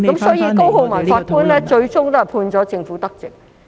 所以，高浩文法官最終判決政府得直。